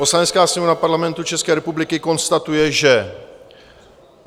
Poslanecká Sněmovna Parlamentu České republiky konstatuje, že: